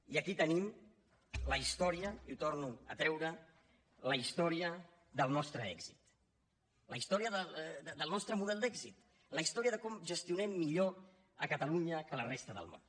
i aquí tenim la història i ho torno a treure la història del nostre èxit la història del nostre model d’èxit la història de com gestionem millor a catalunya que a la resta del món